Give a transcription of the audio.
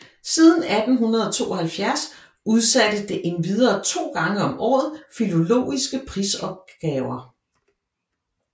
Siden 1872 udsatte det endvidere to gange om året filologiske prisopgaver